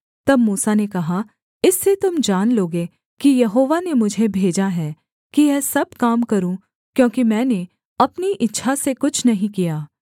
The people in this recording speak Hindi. तब मूसा ने कहा इससे तुम जान लोगे कि यहोवा ने मुझे भेजा है कि यह सब काम करूँ क्योंकि मैंने अपनी इच्छा से कुछ नहीं किया